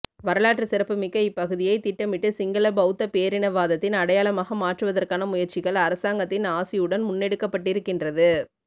வராலாற்று சிறப்பு மிக்க இப்பகுதியை திட்டமிட்டு சிங்கள பௌத்த பேரினவாதத்தின் அடையாளமாக மாற்றுவதற்கான முயற்சிகள் அரசாங்கத்தின் ஆசியுடன் முன்னெடுக்கப்பட்டிருக்கின்றது